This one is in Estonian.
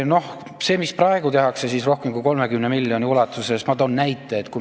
See, mida praegu tehakse rohkem kui 30 miljoni ulatuses – ma toon näite.